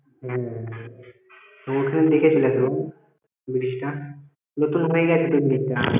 হ্যাঁ ওখান দেখে চলে আসব bridge টা নতুন হয়ে গেছে তো bridge টা